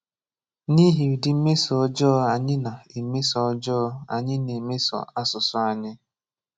N'ihi ụdị mmeso ọjọọ anyị na-emeso ọjọọ anyị na-emeso asụsụ anyị